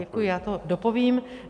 Děkuji, já to dopovím.